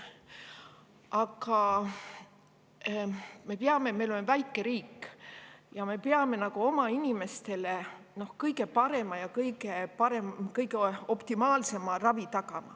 Aga me oleme väike riik ja me peame tagama oma inimestele kõige parema ja kõige optimaalsema ravi.